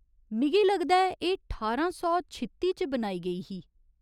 मिगी लगदा ऐ एह् ठारां सौ छित्ती च बनाई गेई ही।